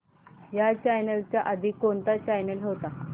ह्या चॅनल च्या आधी कोणता चॅनल होता